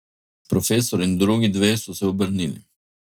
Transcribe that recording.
Profesor in drugi dve so se obrnili.